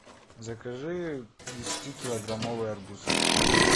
закажи десятикилограммовый арбуз